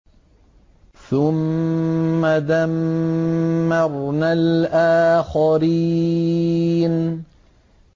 ثُمَّ دَمَّرْنَا الْآخَرِينَ